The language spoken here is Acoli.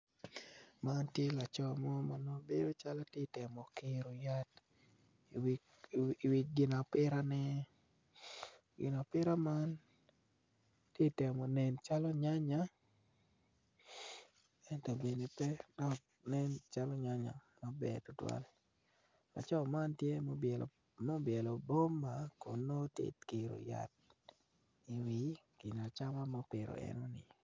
Man tye laco mo bedo calo ti temo kiro yat iwi gin apitane gin apita man ti temo nen calo nyanya ento bene pe dok nen calo nyanya maber tutwal laco man tye ma obyelo buma kun nongo ti kiro yat iwi gin acama ma opito eni.